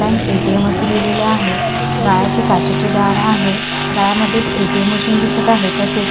Bank ATM. असे लिहिलेले आहे गालाचे काचेचे दार आहे गाळयामध्ये एक ए.टी.एम. मशीन दिसत आहे तसेच.